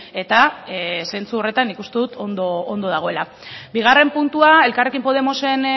eta zentzu horretan nik uste dut ondo dagoela bigarren puntua elkarrekin podemosen